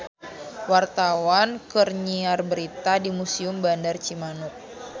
Wartawan keur nyiar berita di Museum Bandar Cimanuk